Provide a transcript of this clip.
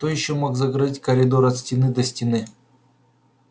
кто ещё мог закрыть коридор от стены до стены